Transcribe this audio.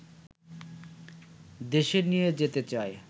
দেশে নিয়ে যেতে চায়